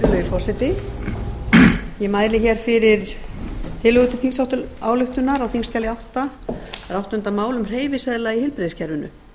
virðulegi forseti ég mæli hér fyrir tillögu til þingsályktunar á þingskjali átta það er áttunda mál um hreyfiseðla í heilbrigðiskerfinu